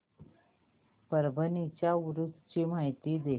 परभणी च्या उरूस ची माहिती दे